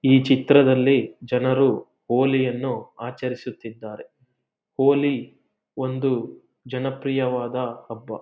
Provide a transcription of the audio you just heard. ಈ ಚಿತ್ರದಲ್ಲಿ ಜನರು ಹೋಲಿಯನ್ನು ಆಚರಿಸುತ್ತಿದ್ದಾರೆ ಹೋಲಿ ಒಂದು ಜನಪ್ರಿಯವಾದ ಹಬ್ಬ.